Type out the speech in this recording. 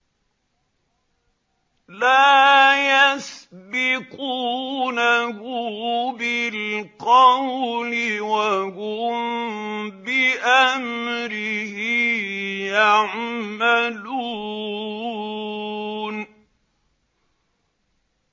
لَا يَسْبِقُونَهُ بِالْقَوْلِ وَهُم بِأَمْرِهِ يَعْمَلُونَ